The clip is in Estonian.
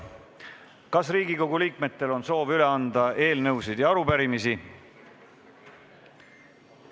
Kas Riigikogu liikmetel on soovi üle anda eelnõusid ja arupärimisi?